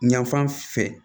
Yanfan fɛ